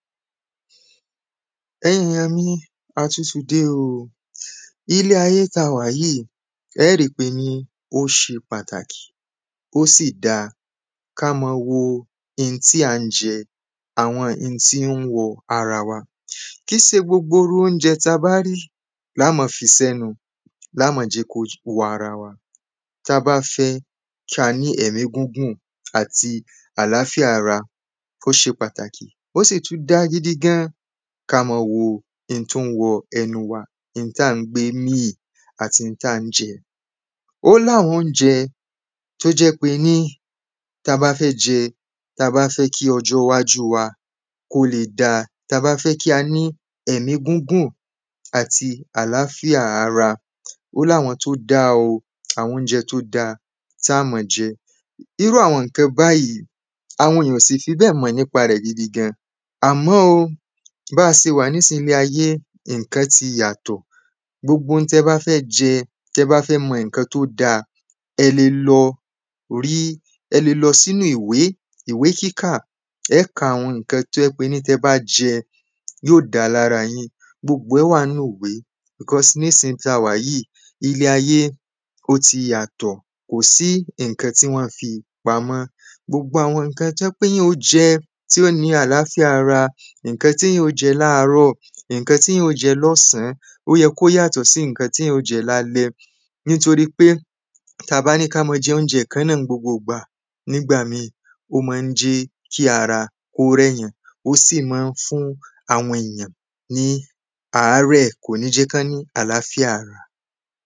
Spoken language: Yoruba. ẹ̀yin èyàn mi, a tún ti dé o ní ilẹ̀ ayé tí a wà yìí ẹ́ ríi wípé ó ṣe pàtàkì, ó sì dáa ká ma wo ohun tí à ń jẹ àwọn ihun tí ń wọ ara wa kìí ṣe gbogbo irú óúnjẹ ta bá rí la máa fi sí ẹnu lá máa jẹ́ kí ó wọ ara wa tí a bá fẹ́ kí á ní ẹ̀mí gígùn àti àláfíà ara ó ṣe pàtàkí ó sì tún dáa gidi gan ká máa wo oun tí ń wọ ẹnu wa, ihun tí à ń gbé mì àti ihun tí à ń jẹ ó ní àwọn óúnjẹ tó jẹ́ wípé ni táa bá fẹ jẹ, táa bá fẹ́ kí ọjọ wájú wa kó lè dáa, ta bá fẹ́ kí á ní ẹ̀mí gígùn àti àláfíà ara ó láwọn tó dáa, àwọn óúnjẹ tó da tá máa jẹ irú àwọn ǹkan báyìí, àwọn èyàn kò sì fi bẹ́ẹ̀ mọ̀ nípa rẹ̀ gidi gan. Àmọ́ o bí a ṣe wà ní ìsín ní ayé ǹkan ti yàtọ̀, gbogbo ǹkan tí ẹ bá fẹ́ jẹ, tí ẹ bá fẹ́ mọ ǹkan tó dáa, ẹ lè lọ sínu ìwé kíkà ẹ́ ka àwọn ǹkan tó jẹ́ wípé tí ẹ bá jẹ yóò da lára yin gbogbo ẹ̀ wà nínu ìwé because ní ìsín tí a wà yìí, ilé ayé ó ti yàtọ̀ kò sí ǹkan tí wọ́n fi pamọ́ gbogbo àwọn ǹkan tó jẹ́ wípè èyàn yóò jẹ tó fi ní àláfíà ara, ǹkan tí èyàn yóò jẹ láàárọ̀, ǹkan tí èyàn yóò jẹ lọ́sàn án ó yẹ kó yàtọ̀ sí ǹkan tí èyàn yóò jẹ lálẹ́ nítorí wípé tí a bá ní ká máa jẹ óúnjẹ kan náà ní gbogbo ìgbà, nígbà míì ó ma jẹ́ kí ara kó rẹ èyàn ó sì ma ń fún àwọn èyàn ní àárẹ̀ kò ní jẹ́ kí wọ́n ní àláfíà ara.